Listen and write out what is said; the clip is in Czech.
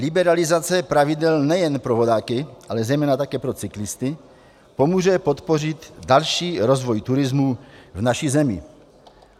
Liberalizace pravidel nejen pro vodáky, ale zejména také pro cyklisty, pomůže podpořit další rozvoj turismu v naší zemi.